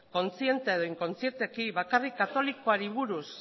kontziente edo inkontzienteki bakarrik katolikoari buruz